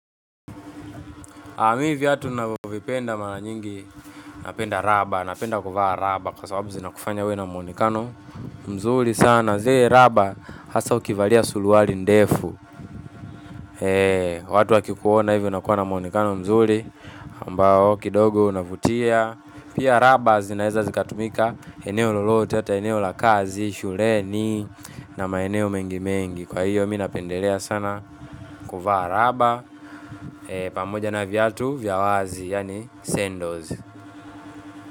Aaa mi viatu navovipenda mara nyingi napenda raba, napenda kuvaa raba kwa sababu zina kufanya uwe na muonekano mzuli sana. Zee raba hasa ukivalia suluwali ndefu, watu wakikuona ivi unakuwa na muonekano mzuli. Mbao kidogo unavutia, pia raba zinaeza zikatumika, eneo lolote, ata eneo lakazi, shuleni na maeneo mengimengi kwa hiyo minapendelea sana kuvaa raba pamoja na viatu vyawazi yani sendos.